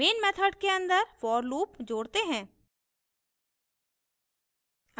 main method के अन्दर for loop जोड़ते हैं